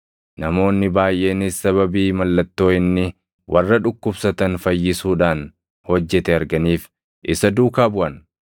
namoonni baayʼeenis sababii mallattoo inni warra dhukkubsatan fayyisuudhaan hojjete arganiif isa duukaa buʼan.